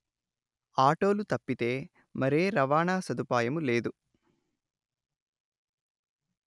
ఆటోలు తప్పితే మరే రవాణా సదుపాయము లేదు